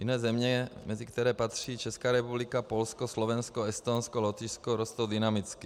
Jiné země, mezi které patří Česká republika, Polsko, Slovensko, Estonsko, Lotyšsko, rostou dynamicky.